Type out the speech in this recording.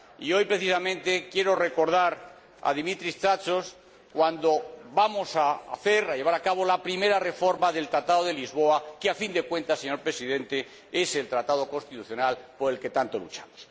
Hoy precisamente quiero recordar a Dimitris Tsatsos cuando vamos a llevar a cabo la primera reforma del Tratado de Lisboa, que, a fin de cuentas, señor Presidente, es el Tratado constitucional por el que tanto luchamos.